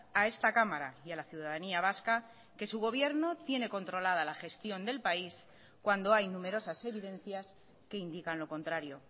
a esta cámara y a la ciudadanía vasca que su gobierno tiene controlada la gestión del país cuando hay numerosas evidencias que indican lo contrario